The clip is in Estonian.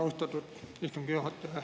Austatud istungi juhataja!